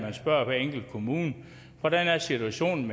at spørge hver enkelt kommune hvordan situationen